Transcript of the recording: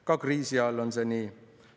Ka kriisiajal on see nii.